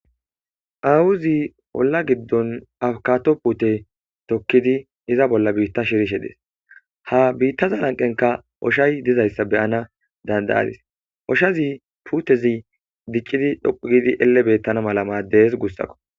awuzi holla giddon akato pute tokkidi iza bolla biitta shirishe dees ha biittaza lanqenka oshay dizayssa beyana dandayadis oshazi putezi diccidi dhoqu gidi elle beettana mala maaddees gussakko